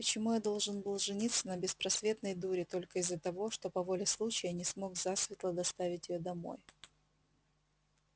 почему я должен был жениться на беспросветной дуре только из-за того что по воле случая не смог засветло доставить её домой